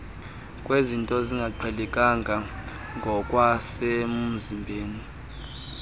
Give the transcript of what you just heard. kwezinto ezingaqhelekanga ngokwasemzimbeni